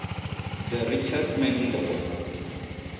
the richest man in the world